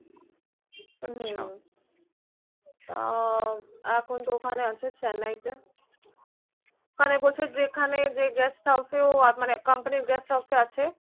আছা আহ এখন তো Chennai তে ওইখানে বলছে যেইখানে যে guest house এ মানে company guest house এ আছে